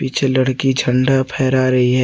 पीछे लड़की झंडा फैरा रही है।